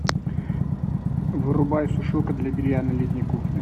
вырубай сушилка для белья на летней кухне